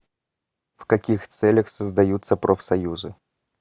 в каких целях создаются профсоюзы